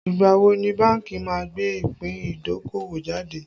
Ìgbà wo ni bánkì má gbé ìpín idokowo jáde